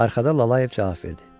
Arxadan Lalayev cavab verdi.